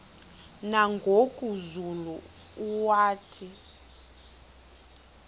nangoku zulu uauthi